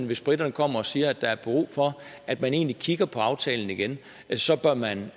hvis briterne kommer og siger at der er brug for at man egentlig kigger på aftalen igen så bør man